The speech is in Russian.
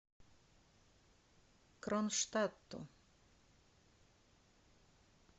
кронштадту